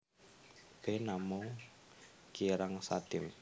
B Namung kirang sadim